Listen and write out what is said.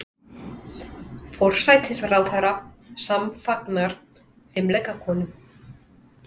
Forsætisráðherra samfagnar fimleikakonum